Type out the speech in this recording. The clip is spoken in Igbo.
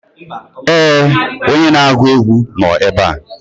ee, onye na-agụ egwu nọ ebe a